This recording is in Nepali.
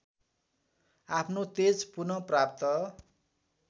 आफ्नो तेज पुनःप्राप्त